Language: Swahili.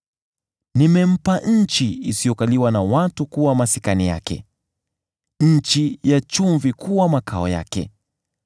Nimempa nchi isiyokaliwa na watu kuwa masikani yake, nchi ya chumvi kuwa makao yake.